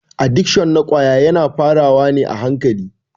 Adikshon na ƙwaya yana fara wa ne a hankali.